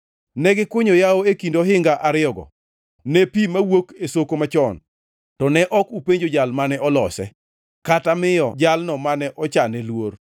Ne gikunyo yawo e kind ohinga ariyogo ne pi mawuok e soko machon, to ne ok upenjo Jal mane olose, kata miyo Jalno mane ochane luor.